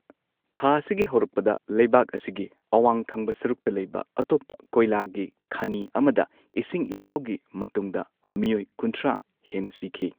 ꯊꯥ ꯑꯁꯤꯒꯤ ꯍꯧꯔꯛꯄꯗ, ꯂꯩꯕꯥꯛ ꯑꯁꯤꯒꯤ ꯑꯋꯥꯡ ꯊꯪꯕ ꯁꯔꯨꯛꯇ ꯂꯩꯕ ꯑꯇꯣꯞꯄ ꯀꯣꯢꯂꯥꯒꯤ ꯈꯅꯤ ꯑꯃꯗ, ꯏꯁꯤꯡ ꯏꯆꯥꯎꯒꯤ ꯃꯇꯨꯡꯗ ꯃꯤꯑꯣꯏ ꯀꯨꯟꯊ꯭ꯔꯥ ꯍꯦꯟꯅ ꯁꯤꯈꯤ꯫